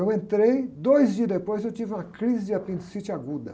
Eu entrei, dois dias depois eu tive uma crise de apendicite aguda.